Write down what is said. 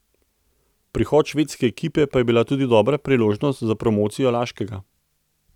Prihod švedske ekipe pa je bila tudi dobra priložnost za promocijo Laškega.